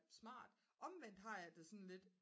smart omvendt har jeg det sådan lidt